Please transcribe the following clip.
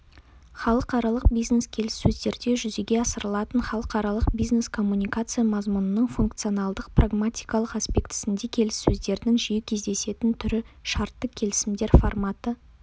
халықаралық бизнес-келіссөздерде жүзеге асырылатын халықаралық бизнес-коммуникация мазмұнының функционалдық-прагматикалық аспектісінде келіссөздердің жиі кездесетін түрі шартты келісімдер форматы